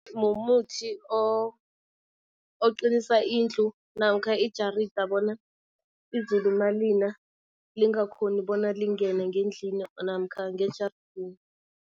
Mumuthi oqinisa indlu namkha ijarida bona izulu malina lingakhoni bona lingene ngendlini namkha ngejardeni.